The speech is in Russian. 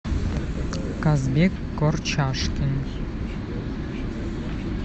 казбек корчашкин